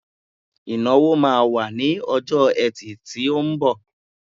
Ìnáwó má wà ní ọjọ́ ẹtì tí ó ńbọ̀.